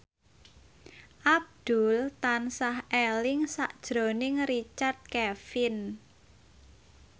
Abdul tansah eling sakjroning Richard Kevin